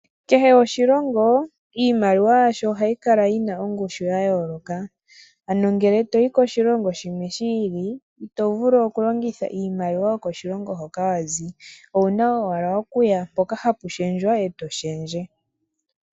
Kehe oshilongo iimaliwa yasho ohayi kala yi na ongushu ya yooloka. Ano ngele to yi koshilongo shimwe shi ili ito vulu okulongitha iimaliwa yokoshilongo hoka wa zi. Owu na owala oku ya mpoka hapu shendjwa e to shendje.